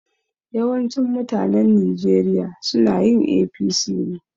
Yawancin mutanen Nijeriya sunayin APC ne